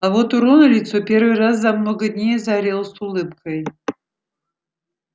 а вот у рона лицо первый раз за много дней озарилось улыбкой